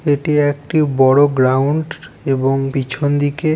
এটি একটি বড়ো গ্রাউন্ড এবং পেছন দিকে--